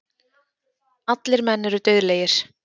Allir menn eru dauðlegir.